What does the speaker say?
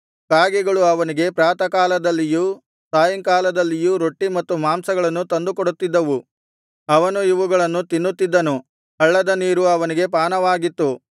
ಕಾಗೆಗಳು ಅವನಿಗೆ ಪ್ರಾತಃಕಾಲದಲ್ಲಿಯೂ ಸಾಯಂಕಾಲದಲ್ಲಿಯೂ ರೊಟ್ಟಿ ಮತ್ತು ಮಾಂಸಗಳನ್ನು ತಂದುಕೊಡುತ್ತಿದ್ದವು ಅವನು ಇವುಗಳನ್ನು ತಿನ್ನುತ್ತಿದ್ದನು ಹಳ್ಳದ ನೀರು ಅವನಿಗೆ ಪಾನವಾಗಿತ್ತು